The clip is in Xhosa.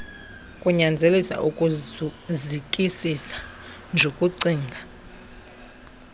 kunyanzelisa ukuzikisisa jukucinga